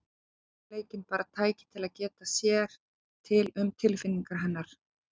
Raunveruleikinn bara tæki til að geta sér til um tilfinningar hennar.